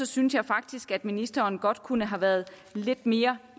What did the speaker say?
synes jeg faktisk at ministeren godt kunne have været lidt mere